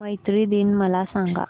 मैत्री दिन मला सांगा